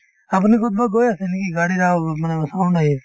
আপুনি কৰবাত গৈ আছে নেকি গাড়ীৰ awaaz ত মানে sound আহি আছে